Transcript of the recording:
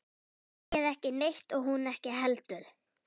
Segir ekki neitt og hún ekki heldur.